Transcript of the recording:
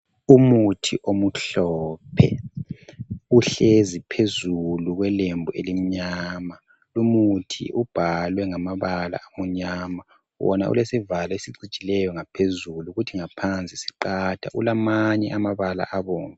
Umuthi omhlophe, uhlezi phezulu kwelembu elimnyama. Umuthi ubhalwe ngamabala amnyama, wona ulesivalo esicijileyo ngaphezulu kuthi ngaphansi siqatha kulamanye amabala abomvu